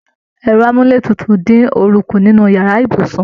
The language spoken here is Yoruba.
Ẹrọ amuletutu din ooru kú nínú yàrá ibùsùn.